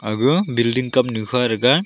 ega building kam nu hua to ke.